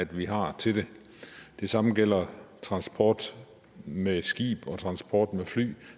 vi har til det det samme gælder transport med skib og transport med fly